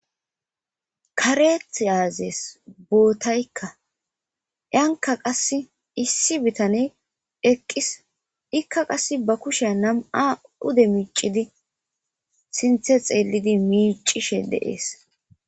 kareth aazes bootaykka anka qass issi bitaney eqqis ikka qass ba kushea nam7a ude miicidi sinthe xeellidi miicishe de'ees